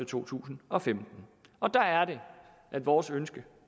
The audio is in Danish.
to tusind og femten og der er det at vores ønske